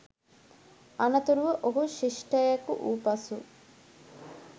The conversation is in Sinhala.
අනතුරුව ඔහු ශිෂ්ටයෙකු වූ පසු